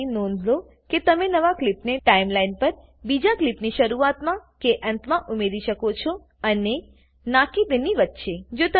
કૃપા કરી નોંધ લો કે તમે નવા ક્લીપને ટાઈમલાઈન પર બીજા ક્લીપની શરૂઆતમાં કે અંતમાં ઉમેરી શકો છો અને ના કે તેની વચ્ચે